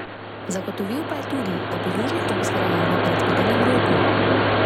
Zagotovil pa je tudi, da bo Južni tok zgrajen v predvidenem roku.